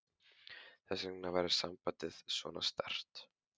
Þess vegna væri sambandið svona sterkt.